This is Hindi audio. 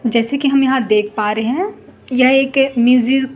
जैसे कि हम यहां देख पा रहे हैं यह एक